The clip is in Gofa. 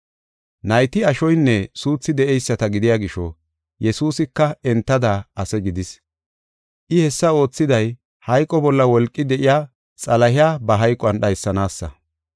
Nayti ashoynne suuthi de7eyisata gidiya gisho, Yesuusika entada ase gidis. I hessa oothiday, hayqo bolla wolqi de7iya Xalahiya ba hayquwan dhaysanaasa.